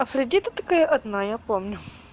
афродита такая одна я помню